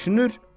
Düşünür.